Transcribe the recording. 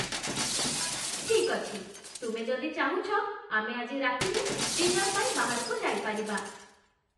ଠିକ୍ ଅଛି, ତୁମେ ଯଦି ଚାହୁଁଛ, ଆମେ ଆଜି ରାତିରେ ଡିନର୍ ପାଇଁ ବାହାରକୁ ଯାଇପାରିବା ।